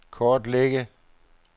kortlægge